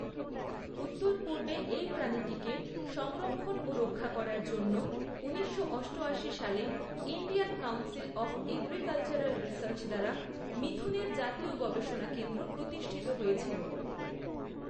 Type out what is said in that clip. উত্তর পূর্বে এই প্রাণীটিকে সংরক্ষণ ও রক্ষা করার জন্য, ঊনিশশো অষ্টআশি সালে Indian Council of Agricultural Research দ্বারা মিথুনের জাতীয় গবেষণা কেন্দ্র প্রতিষ্ঠিত হয়েছিল।